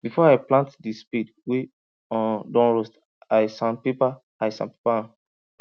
before i paint the spade wey um don rust i sandpaper i sandpaper am